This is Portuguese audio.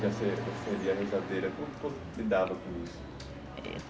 ia ser rezadeira. Como como lidava com isso?